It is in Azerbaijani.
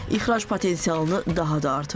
İxrac potensialını daha da artırır.